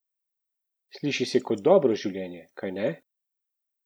Sliši se kot dobro življenje, kajne?